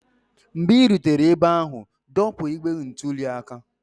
mgbe ị rutere ebe ahụ, dọpụ igbe ntụli aka